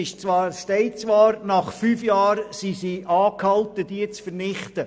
Es steht zwar, sie seien angehalten, diese nach fünf Jahren zu vernichten.